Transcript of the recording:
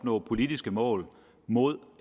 nå politiske mål mod